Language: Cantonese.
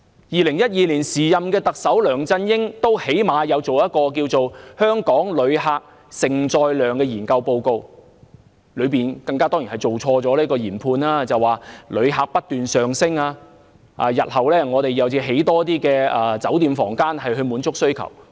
2012年，時任特首梁振英最低限度也發表了《香港承受及接待旅客能力評估報告》，儘管報告錯誤研判，指旅客不斷上升，日後需要興建更多酒店房間去滿足需求。